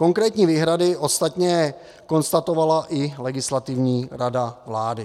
Konkrétní výhrady ostatně konstatovala i Legislativní rada vlády.